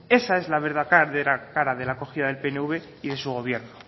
esa es la verdadera cara de la acogida del pnv y de su gobierno